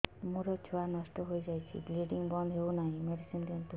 ମୋର ଛୁଆ ନଷ୍ଟ ହୋଇଯାଇଛି ବ୍ଲିଡ଼ିଙ୍ଗ ବନ୍ଦ ହଉନାହିଁ ମେଡିସିନ ଦିଅନ୍ତୁ